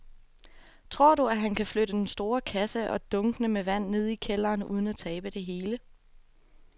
Tror du, at han kan flytte den store kasse og dunkene med vand ned i kælderen uden at tabe det hele?